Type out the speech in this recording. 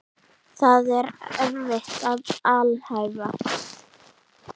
Það er erfitt að alhæfa.